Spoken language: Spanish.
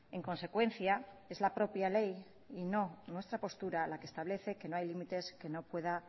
en consecuencia es la propia ley y no nuestra postura la que establece que no hay límites que no pueda